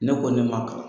Ne ko ne ma kalan